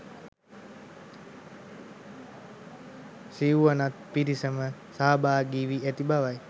සිව්වනත් පිරිසම සහභාගි වී ඇති බව යි.